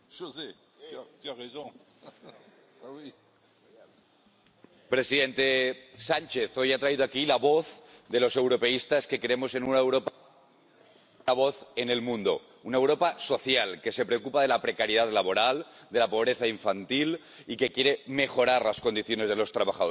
Señor presidente, señor presidente Sánchez, hoy ha traído aquí la voz de los europeístas que creemos en una Europa la voz en el mundo. Una Europa social que se preocupa de la precariedad laboral, de la pobreza infantil y que quiere mejorar las condiciones de los trabajadores.